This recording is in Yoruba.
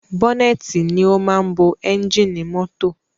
Bọ́nẹ́tì ni o máa ń bo ẹ́ngìnì mọ́tọ̀.